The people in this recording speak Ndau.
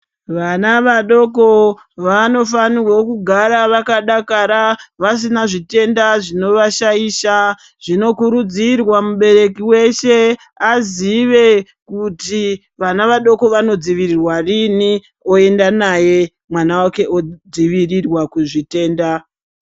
Vana vadoko vanofanirwe kugara vakadakara vasina zvitenda zvinovashaisha zvinokurudzirwa kuti mubereki weshe azive kuti vana vanodzivirirwa rini oenda naye mwana wake odzivirirwa kuzvitenda.